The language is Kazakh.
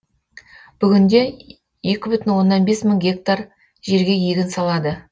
бүгінде екі бүтін оннан бес мың гектар жерге егін салады